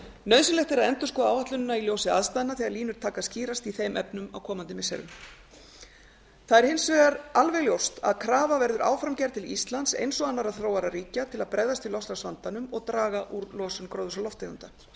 nauðsynlegt er að endurskoða áætlunina í ljósi aðstæðna þegar línur taka að skýrast í þeim efnum á komandi missirum það er hins vegar alveg ljóst að krafa verður áfram gerð til íslands eins og annarra þróaðra ríkja til að bregðast við loftslagsvandanum og draga úr losun gróðurhúsalofttegunda